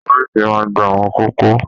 Ọ̀fiísí máa n gbà àwọn kókó.